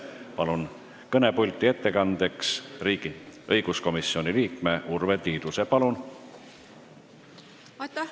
Palun kõnepulti ettekandeks õiguskomisjoni liikme Urve Tiiduse!